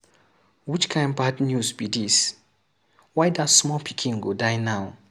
Which kin bad news be dis. Why dat small pikin go die now.